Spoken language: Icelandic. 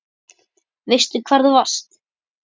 Veistu hvar þú varst?